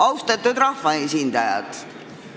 Austatud rahvaesindajad!